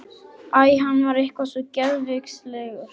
Æ, hann var eitthvað svo geðveikislegur.